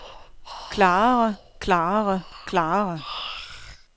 klarere klarere klarere